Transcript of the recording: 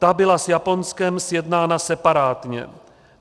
Ta byla s Japonskem sjednána separátně.